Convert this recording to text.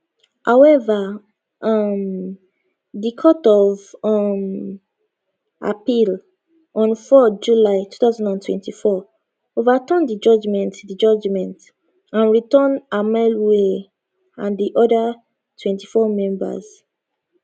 however um di court of um appeal on 4 july 2024 overturn di judgement di judgement and return amaewhule and di oda 24 members